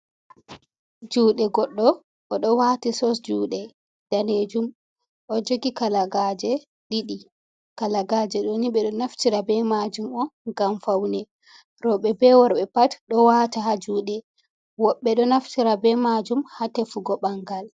Juɗe goɗɗ oɗo wati sos juɗe nɗanejum. Oɗo jogi kalagaje ɗiɗi. Kalagaje ɗo ni. Beɗo naftira be majum on ngam faune. Robe be worbe pat ɗo wata ha juɗe. Woɓɓe ɗo naftira be majum ha tefugo bangal.